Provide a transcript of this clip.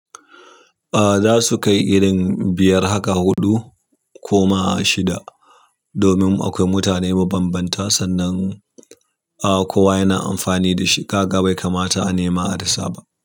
Ah za su kai irin biyar haka huɗu ko ma shida. Domin akwai mutane mabambanta sannan ah kowa yana amfani da shi kaga bai kamata a nema a rasa ba.